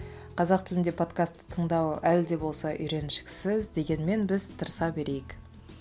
қазақ тілінде подкасты тыңдау әлі де болса үйреншіксіз дегенмен біз тырыса берейік